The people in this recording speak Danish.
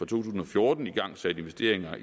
tusind og fjorten igangsat investeringer